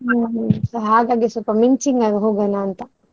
ಹಾಗಾಗಿ ಸ್ವಲ್ಪ ಮಿಂಚಿಂಗ್ ಆಗಿ ಹೋಗೋಣ ಅಂತ.